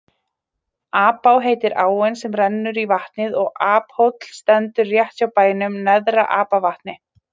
Apá heitir áin sem rennur í vatnið og Aphóll stendur rétt hjá bænum Neðra-Apavatni.